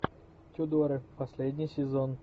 тюдоры последний сезон